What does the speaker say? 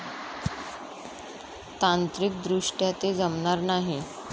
तांत्रिकदृष्ट्या ते जमणार नाही.